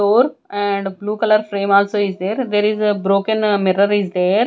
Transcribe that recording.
door and blue color frame also is there there is a broken mirror is there.